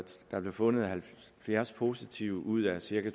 der blev fundet halvfjerds positive ud af cirka